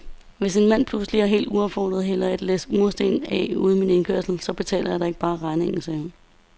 Hvis en mand pludselig og helt uopfordret hælder et læs mursten af ude i min indkørsel, så betaler jeg da ikke bare regningen, sagde hun.